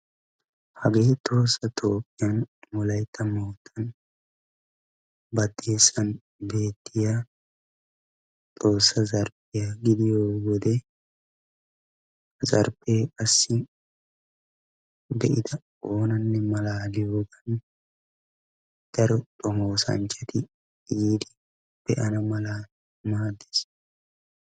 Hage tohossa toophiyaan wolaytta moottan badeesan beettiya Xoossa zarphiya gidiyo wode zarphphe qassi be'in oonanne malaliyo daro xomoosanchchati yiidi be'ana mala maaddes.